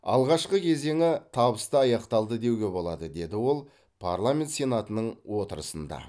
алғашқы кезеңі табысты аяқталды деуге болады деді ол парламент сенатының отырысында